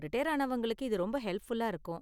Retire ஆனவங்களுக்கு இது ரொம்ப ஹெல்ப்ஃபுல்லா இருக்கும்.